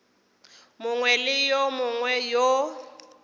mongwe le yo mongwe yo